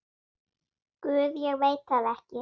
Guð, ég veit það ekki.